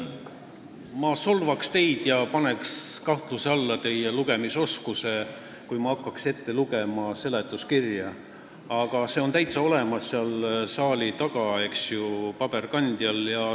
Ma solvaks teid ja paneks kahtluse alla teie lugemisoskuse, kui ma hakkaks seletuskirja ette lugema, aga see on seal saali taga paberkandjal täitsa olemas.